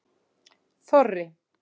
Þorri